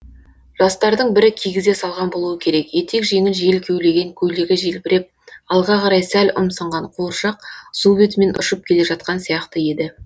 жастардың бірі кигізе салған болуы керек етек жеңін жел кеулеген көйлегі желбіреп алға қарай сәл ұмсынған қуыршақ су бетімен ұшып келе жатқан сияқты еді